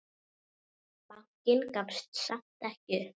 Bankinn gafst samt ekki upp.